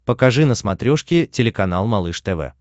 покажи на смотрешке телеканал малыш тв